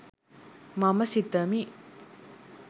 මම සිතමි.